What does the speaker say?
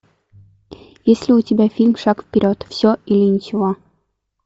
есть ли у тебя фильм шаг вперед все или ничего